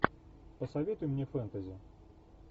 посоветуй мне фэнтези